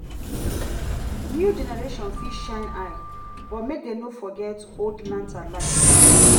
new generation fit shine eyes but make dem no forget old lantern light.